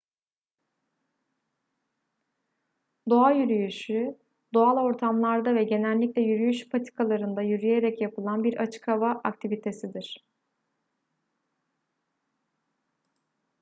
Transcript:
doğa yürüyüşü doğal ortamlarda ve genellikle yürüyüş patikalarında yürüyerek yapılan bir açık hava aktivitesidir